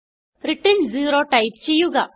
return 0 type ചെയ്യുക